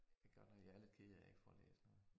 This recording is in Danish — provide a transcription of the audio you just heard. Det godt nok jeg er lidt ked af jeg ikke får læst noget